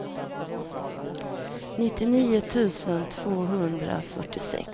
nittionio tusen tvåhundrafyrtiosex